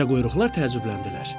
Çömçəquyruqlar təəccübləndilər.